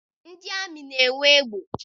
Ndị amị na-enwe egbe